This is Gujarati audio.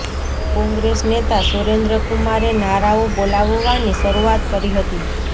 કોંગ્રેસ નેતા સુરેન્દ્ર કુમારે નારાઓ બોલાવવાની શરૂઆત કરી હતી